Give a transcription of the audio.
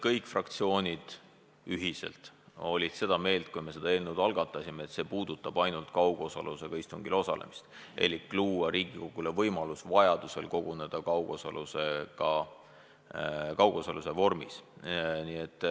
Kõik fraktsioonid olid ühiselt seda meelt, kui me selle eelnõu algatasime, siis see puudutas ainult kaugosalusega istungil osalemist elik seda, kuidas luua Riigikogule võimalus vajaduse korral koguneda kaugtöö vormis.